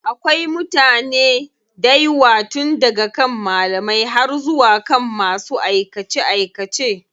Akwai mutane daywa tun daga kan malamai har zuwa kan masu aikace aikace.